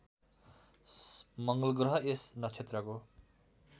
मङ्गलग्रह यस नक्षत्रको